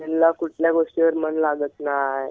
त्यांच्या कुठल्या गोष्टीवर मन लागत नाय.